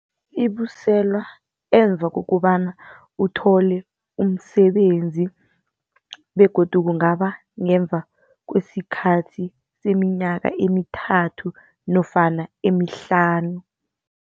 Ibuyiselwa emva kokobana uthole umsebenzi begodu kungaba ngemva kwesikhathi seminyaka emithathu nofana emihlanu.